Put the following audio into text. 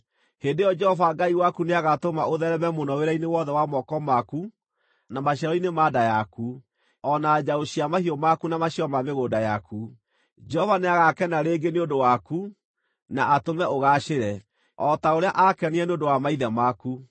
Hĩndĩ ĩyo Jehova Ngai waku nĩagatũma ũtheereme mũno wĩra-inĩ wothe wa moko maku na maciaro-inĩ ma nda yaku, o na njaũ cia mahiũ maku na maciaro ma mĩgũnda yaku. Jehova nĩagakena rĩngĩ nĩ ũndũ waku, na atũme ũgaacĩre, o ta ũrĩa aakenire nĩ ũndũ wa maithe maku,